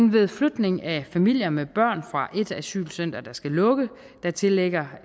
ved flytning af familier med børn fra et asylcenter der skal lukke tillægger